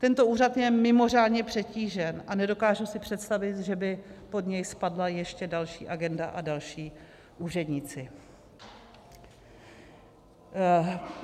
Tento úřad je mimořádně přetížen a nedokážu si představit, že by pod něj spadla ještě další agenda a další úředníci.